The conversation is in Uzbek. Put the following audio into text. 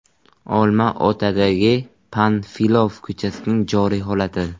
Olmaotadagi Panfilov ko‘chasining joriy holati.